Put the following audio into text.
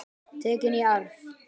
Tekin í arf.